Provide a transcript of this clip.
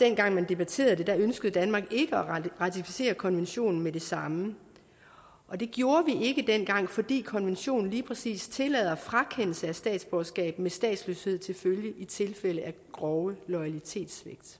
dengang man debatterede det ønskede danmark ikke at ratificere konventionen med det samme det gjorde vi ikke dengang fordi konventionen lige præcis tillader frakendelse af statsborgerskab med statsløshed til følge i tilfælde af grove loyalitetssvigt